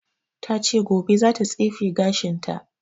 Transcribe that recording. Ta ce gobe za ta tsefe gashin ta